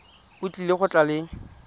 o tlile go tla le